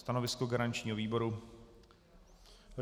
Stanovisko garančního výboru?